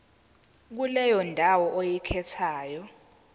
kuleyo ndawo oyikhethayo